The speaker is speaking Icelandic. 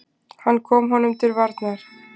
Hann kom honum til varnar.